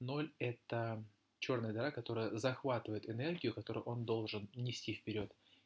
ноль это чёрная дыра которая захватывает энергию которую он должен нести вперёд